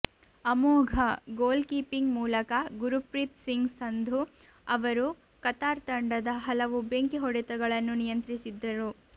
ಅಮೋಘ goalkeeping ಮೂಲಕ ಗುರುಪ್ರೀತ್ ಸಿಂಗ್ ಸಂಧು ಅವರು ಕತಾರ್ ತಂಡದ ಹಲವು ಬೆಂಕಿ ಹೊಡೆತಗಳನ್ನು ನಿಯಂತ್ರಿಸಿದ್ದರು